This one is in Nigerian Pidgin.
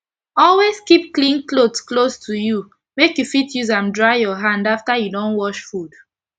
always keep clean cloth close to u make u fit use an dry ur hand after u don wash fud